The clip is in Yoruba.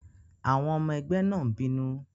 Àwọn ọmọ ẹgbẹ́ náà n bínú